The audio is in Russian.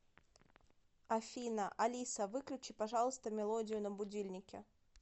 афина алиса выключи пожалуйста мелодию на будильнике